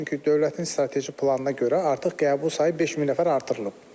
Çünki dövlətin strateji planına görə artıq qəbul sayı 5000 nəfər artırılıb.